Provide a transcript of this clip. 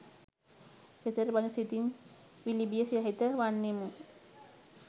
සිතට බඳු සිතින් විලිබිය සහිත වන්නෙමු.